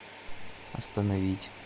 остановить